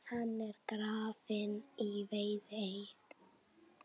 Hann er grafinn í Viðey.